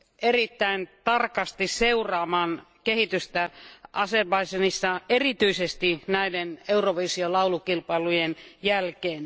erittäin tarkasti seuraamaan kehitystä Azerbaidžanissa, erityisesti Eurovision laulukilpailujen jälkeen.